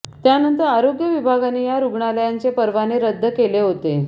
त्यानंतर आरोग्य विभागाने या रुग्णालयांचे परवाने रदद केले होते